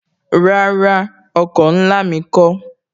Rárá, oko ńlá mi kó